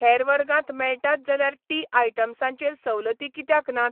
हेर वर्गांत मेळटात जाल्यार टी आयटम्सां चेर सवलती कित्याक नात?